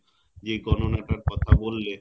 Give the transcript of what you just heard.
যে গণনা টার কথা বললে